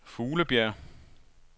Fuglebjerg